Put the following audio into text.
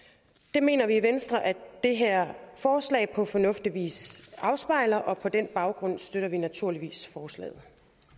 det mener vi i venstre at det her forslag på fornuftig vis afspejler og på den baggrund støtter vi naturligvis forslaget